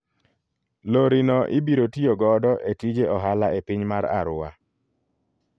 Lori no ibiro tiyo godo e tije ohala e piny mar Arua.